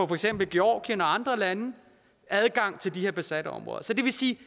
for eksempel georgien og andre lande adgang til de her besatte områder så det vil sige